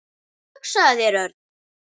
Og hugsaðu þér, Örn.